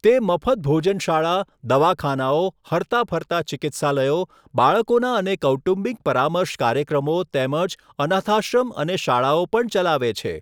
તે મફત ભોજનશાળા, દવાખાનાઓ, હરતા ફરતા ચિકિત્સાલયો, બાળકોના અને કૌટુંબિક પરામર્શ કાર્યક્રમો તેમજ અનાથાશ્રમ અને શાળાઓ પણ ચલાવે છે.